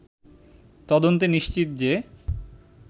তদন্তে নিশ্চিত যে